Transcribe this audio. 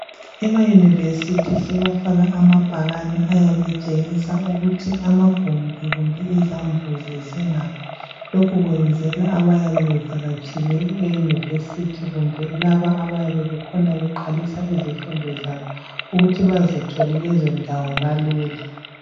ema university sebafaka amabhakane ayabe etshingisa ukuthi amagumbi kumbe izambuzi zinga lokhu kwenzelwa ukuthi abayabe bevakatshele e university kumbe laba abayabe bekhona beqalisa ezifundo zabo ukuthi bazithole lezo ndawo kalula